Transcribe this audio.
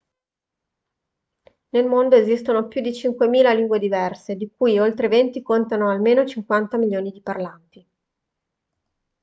nel mondo esistono più di 5.000 lingue diverse di cui oltre 20 contano almeno 50 milioni di parlanti